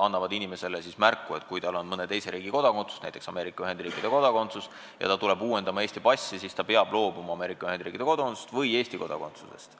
annavad inimesele teada, et kui tal on mõne teise riigi kodakondsus, näiteks Ameerika Ühendriikide kodakondsus, ja ta tuleb uuendama Eesti passi, siis ta peab loobuma Ameerika Ühendriikide kodakondsusest või Eesti kodakondsusest.